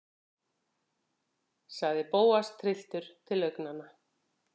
sagði Bóas, trylltur til augnanna.